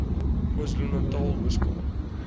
kwazulunatal ooskaap